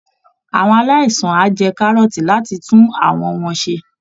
Àwọn aláìsàn á jẹ kárọ́ọ̀tì láti tún àwọ̀ wọn ṣe